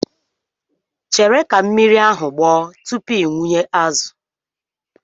Chere ka mmiri ahụ gbọọ tupu ị wụnye azụ.